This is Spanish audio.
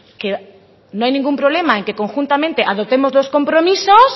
que no hay ningún problema en que conjuntamente adoptemos los compromisos